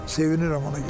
Sevinirəm ona görə.